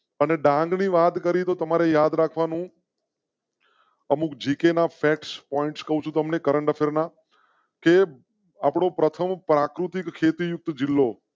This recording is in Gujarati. અને ડાંગની વાત કરી તો તમારે યાદ રાખવા નું. અમુક જી કે ના ફેક્સ point કહું છું તમ ને current affair na ના. પ્રથમ પ્રાકૃતિક ખેતી ઉપર જિલ્લો.